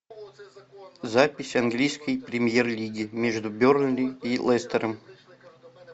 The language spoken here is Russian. запись английской премьер лиги между бернли и лестером